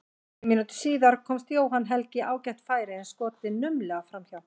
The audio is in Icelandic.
Tveim mínútum síðar komst Jóhann Helgi í ágætt færi en skotið naumlega framhjá.